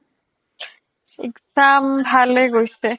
exam ভালে গৈছে |